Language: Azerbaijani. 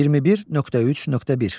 21.3.1.